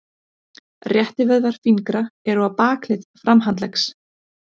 Réttivöðvar fingra eru á bakhlið framhandleggs.